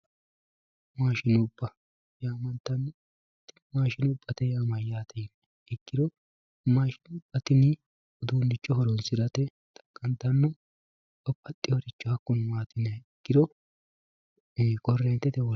Maashinubba yaamantanno, maashinuba yaa mayate yini ikkiro mashinubba tini udunicho horonsirate xaqantano babaxiworicho hakuno maati yini ikkiro korreentete woliqa